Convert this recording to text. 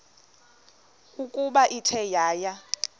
ukuba ithe yaya